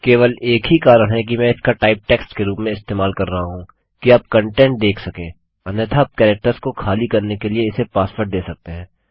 केवल एक ही कारण है कि मैं इसका टाइप टेक्स्ट के रूप में इस्तेमाल कर रहा हूँ कि आप कंटेंट देख सकें अन्यथा आप कैरेक्टर्स को खाली करने के लिए इसे पासवर्ड दे सकते हैं